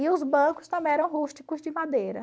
E os bancos também eram rústicos de madeira.